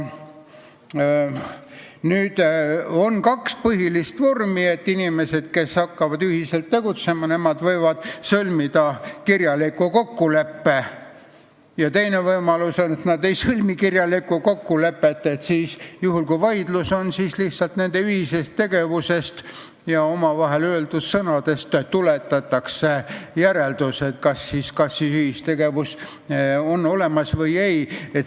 On kaks põhilist vormi: inimesed, kes hakkavad ühiselt tegutsema, võivad sõlmida kirjaliku kokkuleppe, ja teine võimalus on, et nad ei sõlmi kirjalikku kokkulepet ning juhul, kui tekib vaidlus, tuletatakse nende ühisest tegevusest ja omavahel öeldud sõnadest järeldus, kas ühistegevus oli olemas või ei.